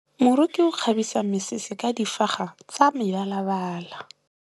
Moroki o kgabisa mesese ka difaga tsa mebalabala.